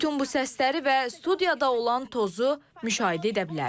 Bütün bu səsləri və studiyada olan tozu müşahidə edə bilərsiniz.